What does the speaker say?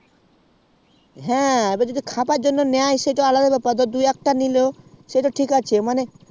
হ্যাঁ সেটাই যদি খাবার জন্যই নেই দু একটা সেটা ঠিক আছে মানে